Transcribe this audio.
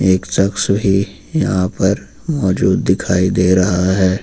एक शख्स भी यहां पर मौजूद दिखाई दे रहा है।